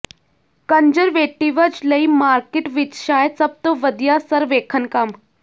conservatives ਲਈ market ਵਿਚ ਸ਼ਾਇਦ ਸਭ ਤੋਂ ਵਧੀਆ ਸਰਵੇਖਣ ਕੰਮ